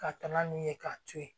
Ka taa n'a ye k'a to ye